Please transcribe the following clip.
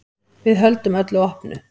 Við höldum öllu opnu.